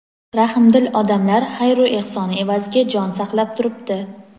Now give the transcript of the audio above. rahmdil odamlar xayru ehsoni evaziga jon saqlab turibdi.